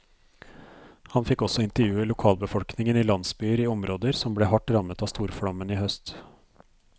Han fikk også intervjue lokalbefolkningen i landsbyer i områder som ble hardt rammet av storflommen i høst.